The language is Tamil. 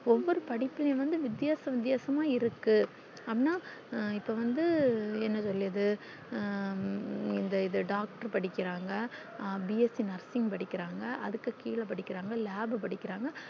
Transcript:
ஒவ்வொரு படிப்புளையும் வந்து வித்யாசம் வித்யாசமான இருக்கு அண்ணா இப்போ வந்து என்ன சொல்லியது ஹம் இந்து இது doctor படிக்கிறாங்க bsc nursing படிக்கிறாங்க அதுக்கு கிழ படிக்கிறாங்க lab படிக்கிறாங்க